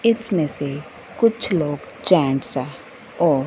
इसमें से कुछ लोग जेंट्स है और--